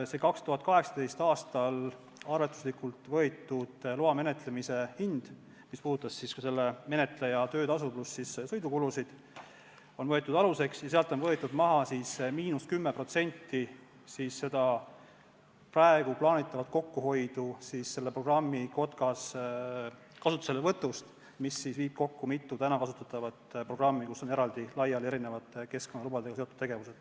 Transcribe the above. See 2018. aastal arvestuslikult võetud loa menetlemise hind, mis hõlmas ka menetleja töötasu pluss sõidukulusid, on võetud aluseks ja sealt on võetud maha 10% praegu plaanitavat kokkuhoidu, mis tuleneb programmi Kotkas kasutuselevõtust, mis viib kokku mitu täna kasutatavat programmi, kus on laiali erinevate keskkonnalubadega seotud tegevused.